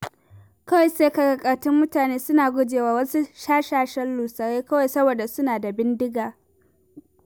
Kawai sai ka ga ƙartin mutane suna gujewa wasu shashashan lusarai kawai saboda suna da bindiga.